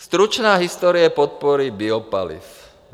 Stručná historie podpory biopaliv.